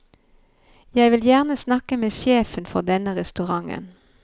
Jeg vil gjerne snakke med sjefen for denne restauranten.